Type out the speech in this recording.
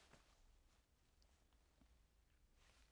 DR2